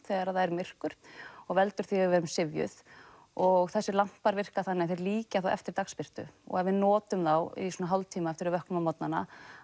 þegar það er myrkur og veldur því að við erum syfjuð og þessir lampar virka þannig að þeir líkja eftir dagsbirtu og ef við notum þá í svona hálftíma eftir að við vöknum á morgnana